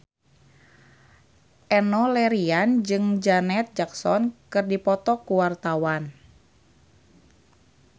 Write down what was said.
Enno Lerian jeung Janet Jackson keur dipoto ku wartawan